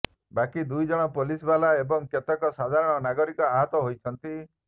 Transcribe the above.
ବାକି ଦୁଇ ଜଣ ପୁଲିସବାଲା ଏବଂ କେତେକ ସାଧାରଣ ନାଗରିକ ଆହତ ହୋଇଛନ୍ତି